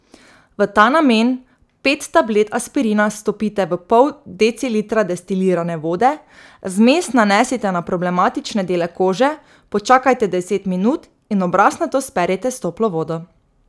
V ta namen pet tablet aspirina stopite v pol decilitra destilirane vode, zmes nanesite na problematične dele kože, počakajte deset minut in obraz nato sperite s toplo vodo.